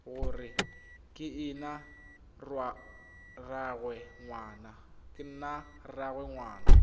gore ke ena rraagwe ngwana